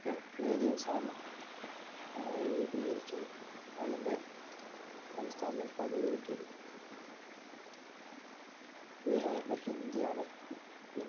ഒക്കെ ഒരേ ദിവസാണ് ഏർ രൂപീകരിച്ചത് അതിൻ്റെ സംസ്ഥാന പതവികിട്ടിയത് ബിഹാറിലെ ഹിന്ദിയാണ്